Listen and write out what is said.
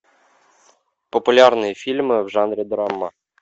популярные фильмы в жанре драма